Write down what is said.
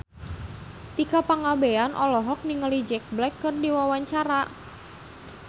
Tika Pangabean olohok ningali Jack Black keur diwawancara